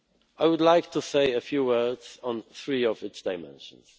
I would like to say a few words on three of its dimensions.